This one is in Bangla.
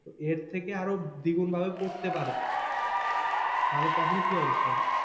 এর থেকে আরও দ্বিগুন ভাবে পড়তে পারে তাহলে তখন কি অবস্থা হবে?